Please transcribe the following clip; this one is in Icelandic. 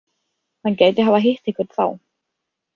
Hann gæti hafa hitt einhvern þá.